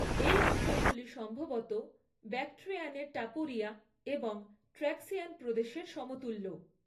এই অঞ্চলগুলি সম্ভবত ব্যাক্ট্রিয়ানের টাপুরিয়া এবং ট্র্যাক্সিয়ান প্রদেশের সমতুল্য।